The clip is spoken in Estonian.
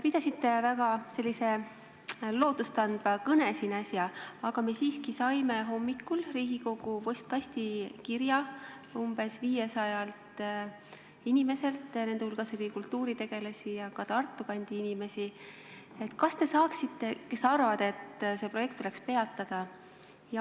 Pidasite äsja väga lootustandva kõne, aga siiski saime me hommikul Riigikogu postkasti kirja umbes 500 inimeselt – nende hulgas oli kultuuritegelasi ja ka Tartu kandi inimesi –, kes arvavad, et see projekt tuleks peatada.